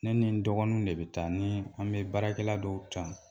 Ne ni n dɔgɔninw de be taa nii an be baarakɛla dɔw ta.